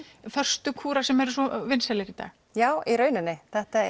föstu kúra sem eru svo vinsælir í dag já í rauninni þetta